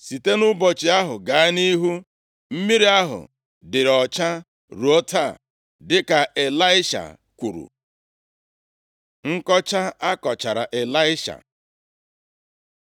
Site nʼụbọchị ahụ gaa nʼihu, mmiri ahụ dịịrị ọcha ruo taa, dịka Ịlaisha kwuru. Nkọcha a kọchara Ịlaisha